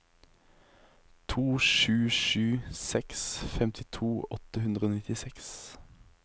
to sju sju seks femtito åtte hundre og nittiseks